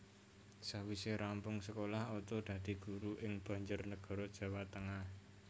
Sawise rampung sekolah Oto dadi guru ing Banjarnegara Jawa Tengah